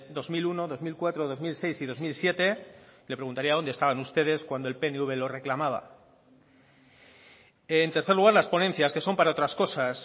dos mil uno dos mil cuatro dos mil seis y dos mil siete le preguntaría dónde estaban ustedes cuando el pnv lo reclamaba en tercer lugar las ponencias que son para otras cosas